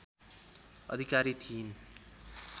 अधिकारी थिइन्